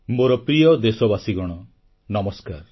ମୋର ପ୍ରିୟ ଦେଶବାସୀଗଣ ନମସ୍କାର